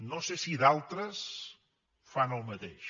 no sé si d’altres fan el mateix